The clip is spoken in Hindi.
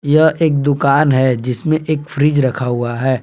यह एक दुकान है जिसमें एक फ्रिज रखा हुआ है।